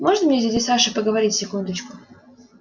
можно мне с дядей сашей поговорить секундочку